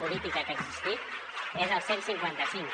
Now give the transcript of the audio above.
política que ha existit és el cent i cinquanta cinc